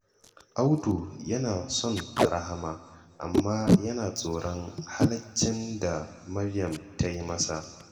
Audu yana son Rahama amma yana tsoron halaccin da Maryam ta yi masa